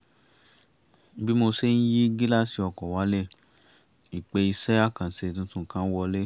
bí mo ṣe ń yí gíláàsì ọkọ̀ wálẹ̀ ìpè iṣẹ́ àkànṣe tuntun kan wọlé